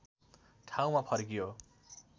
ठाउँमा फर्कियो